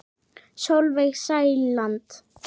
Sólveig Sæland.